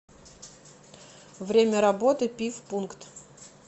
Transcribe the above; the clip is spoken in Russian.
время работы пивпункт